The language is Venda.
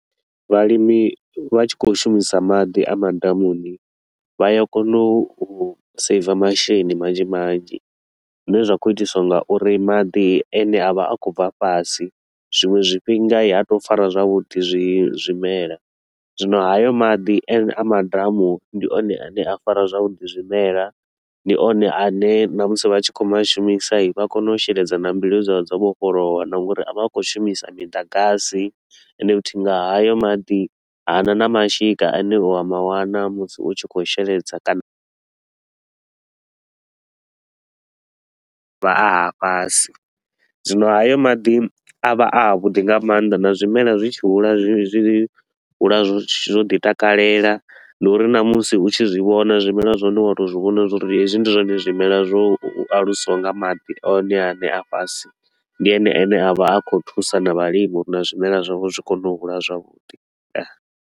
Vhalimi vha tshi khou shumisa maḓi a madamuni, vha ya kona u saver masheleni manzhi manzhi. Zwine zwa khou itiswa nga uri maḓi a ne a vha a khou bva fhasi, zwiṅwe zwifhinga i ha to u fara zwavhuḓi zwi zwimelwa. Zwino hayo maḓi a ne a madamuni, ndi one a ne a fara zwavhuḓi zwimelwa, ndi one a ne ṋamusi vhatshi khou ma shumisa i vha kone u sheledza na mbilu dzavho dzo vhofholowa. Na nga uri a vha a khou shumisa miḓagasi ende futhi nga hayo maḓi, hana na mashika a ne u a mawana musi u tshi khou sheledza kana a vha a ha fhasi. Zwino hayo maḓi a vha a a vhuḓi nga maanḓa na zwimelwa zwi tshi hula zwi zwi hula zwo ḓi takalela. Ndi uri na musi u tshi zwi vhona zwimelwa zwa hone u wa to u zwi vhona uri hezwi ndi zwone zwimelwa zwo alusiwaho nga maḓi one a ne a fhasi, ndi ene a ne a vha a khou thusa na vhalimi uri na zwimelwa zwavho zwi kone u hula zwavhuḓi.